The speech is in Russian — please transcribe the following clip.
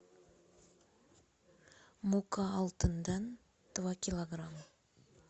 мука алтын дан два килограмма